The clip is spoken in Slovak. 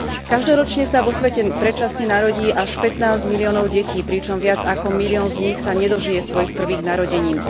Každoročne sa vo svete predčasne narodí až 15 miliónov detí, pričom viac ako milión z nich sa nedožije svojich prvých narodenín.